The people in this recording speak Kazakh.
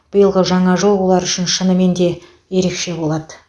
биылғы жаңа жыл олар үшін шынымен де ерекше болады